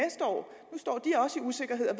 usikkerhed og